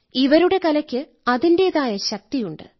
ഇവരുടെ കലയ്ക്ക് അതിന്റേതായ ശക്തിയുണ്ട്